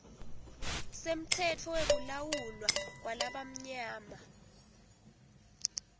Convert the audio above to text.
semtsetfo wekulawulwa kwalabamnyama